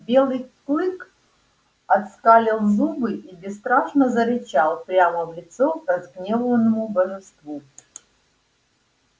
белый клык оскалил зубы и бесстрашно зарычал прямо в лицо разгневанному божеству